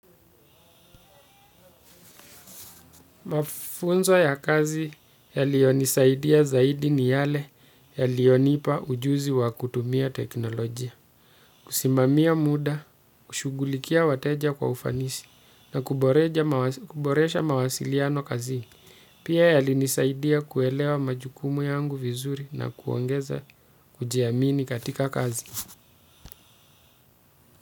Mafunzo ya kazi yalionisaidia zaidi ni yale yalionipa ujuzi wa kutumia teknolojia. Kusimamia muda, kushughulikia wateja kwa ufanisi na kuboresha mawasiliano kazini. Pia yalinisaidia kuelewa majukumu yangu vizuri na kuongeza kujiamini katika kazi.